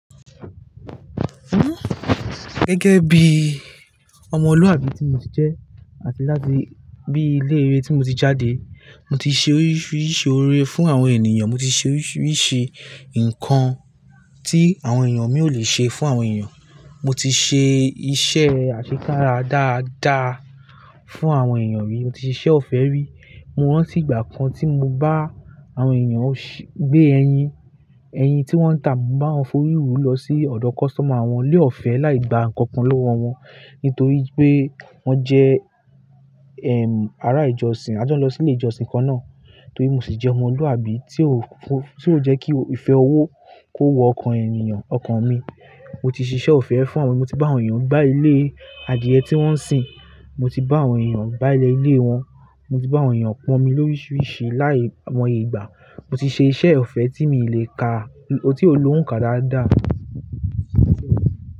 Gẹ́gẹ́ bí ọmọlúàbí tí mo ti jẹ́ àti láti bí ilé-ìwé tí mo ti jáde, mo ti ṣe oríṣiríṣi ọrẹ fún àwọn ènìyàn. Mo ti ṣe oríṣiríṣi nǹkan tí àwọn ènìyàn mi ò lè ṣe fún àwọn ènìyàn. Mo ti ṣe iṣẹ́ àṣẹ ká ra dáadáa fún àwọn ènìyàn rí. Mo ti ṣe iṣẹ́ ọ̀fẹ́ rí. Mo rántí ìgbà kan tí mo bá àwọn ènìyàn gbé ẹyin, ẹyin tí wọ́n ń tà, mo bá wọn foríwò lọ sí ọ̀dọ̀ customer wọn, ni ọ̀fẹ́ láì gba nǹkan kan lọ́wọ́ wọn nítorí pé wọ́n jẹ́, ẹm, ará ìjọsìn. A jon lọ sí ilé ìjọsìn kan náà nítorí mo sì jẹ́ ọmọlúàbí tí ó, tí ó jẹ́ kí ìfẹ́ owó kó wo ọkàn ènìyàn, ọkàn mi. Mo ti ṣe iṣẹ́ ọ̀fẹ́ fún àwọn ènìyàn, mo ti bá àwọn ènìyàn gbá ilé adìẹ tí wọ́n ń sìn, mo ti bá àwọn ènìyàn gbá ilẹ̀ ilé wọn, mo ti bá àwọn ènìyàn pọ́n mi lóríṣiríṣi láìmọ̀ ìgbà. Mo ti ṣe iṣẹ́ ọ̀fẹ́ tí n lè ka, tí ó lo òǹkà dáadáa.